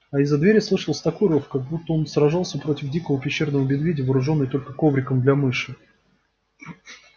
а из-за двери слышался такой рёв как будто он сражался против дикого пещерного медведя вооружённый только ковриком для мыши